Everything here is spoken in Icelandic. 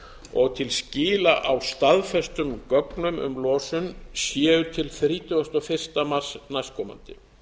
og til skila á staðfestum gögnum um losun séu til þrítugasta og fyrsta mars næstkomandi